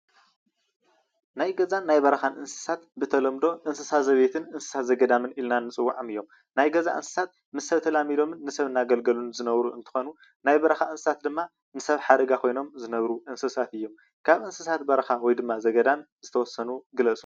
ናይ ገዛን ናይ በረካን እንስሳት ብተለምዶ እንስሳ ዘቤትን እንስሳ ዘገዳምን ኢልና ንፅዉዕም እዮም። ናይ ገዛ እንስሳት ምስ ሰብ ተላሚዶምን ንሰብ እንዳ ኣገልገሉን ዝነብሩን እንትኮኑ ናይ በረካ እንስሳት ድማ ንሰብ ሓደጋ ኮይኖም ዝነብሩ እንስሳት እዮም ። ካብ እንስሳት በረካ ወይ ድማ ዘገዳም ዝተወሰኑ ጥቀሱ?